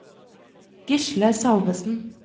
Gisle Salvesen